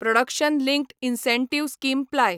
production linked incentive scheme ply